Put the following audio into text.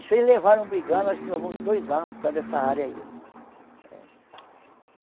Isso eles levaram brigando, acho que levou uns dois anos por causa dessa área aí.